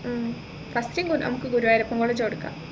ഉം first നമ്മുക്ക് Guruvayurappan college കൊടുക്കാം